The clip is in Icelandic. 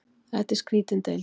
Þetta er skrýtin deild.